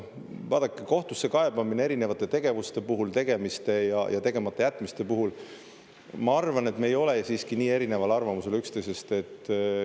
Vaadake, kohtusse kaebamine erinevate tegevuste puhul, tegemiste ja tegematajätmiste puhul – ma arvan, et me ei ole selles siiski nii erineval arvamusel üksteisest.